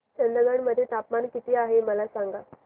चंदगड मध्ये तापमान किती आहे मला सांगा